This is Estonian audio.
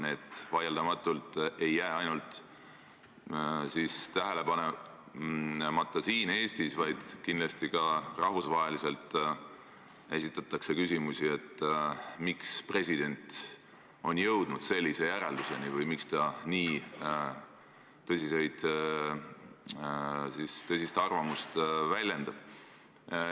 Need ei jää vaieldamatult tähele panemata mitte ainult siin Eestis, vaid kindlasti esitatakse ka rahvusvahelises suhtlemises küsimusi, miks president on jõudnud sellisele järeldusele või miks ta nii tõsist arvamust väljendab.